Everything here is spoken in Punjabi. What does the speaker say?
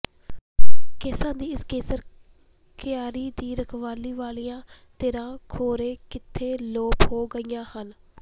ਕੇਸਾਂ ਦੀ ਇਸ ਕੇਸਰ ਕਿਆਰੀ ਦੀ ਰਖਵਾਲੀ ਵਾਲੀਆਂ ਧਿਰਾਂ ਖੌਰੇ ਕਿੱਥੇ ਲੋਪ ਹੋ ਗਈਆਂ ਹਨ